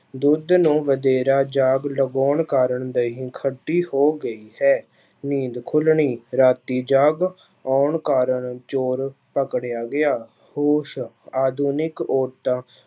ਦੁੱਧ ਨੂੰ ਵਧੇਰਾ ਜਾਗ ਲਵਾਉਣ ਕਾਰਨ ਦਹੀਂ ਖੱਟੀ ਹੋ ਗਈ ਹੈ, ਨੀਂਦ ਖੁੱਲਣੀ, ਰਾਤੀ ਜਾਗ ਆਉਣ ਕਾਰਨ ਚੌਰ ਪਕੜਿਆ ਗਿਆ, ਹੋਸ਼, ਆਧੁਨਿਕ ਔਰਤਾਂ